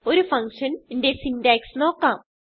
ഒരു ഫങ്ഷൻ ന്റെ സിന്റാക്സ് നോക്കാം